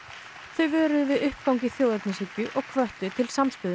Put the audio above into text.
þau vöruðu við uppgangi þjóðernishyggju og hvöttu til samstöðu